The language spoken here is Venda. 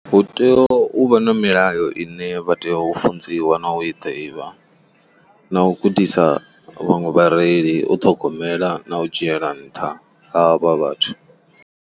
Hu tea u vha na milayo ine vha tea u funziwa na u i ḓivha na u gudisa vhaṅwe vhareili u ṱhogomela na u dzhiela nṱha havha vhathu.